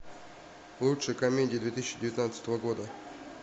лучшие комедии две тысячи девятнадцатого года